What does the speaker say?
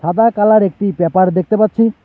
সাদা কালার একটি পেপার দেখতে পাচ্ছি।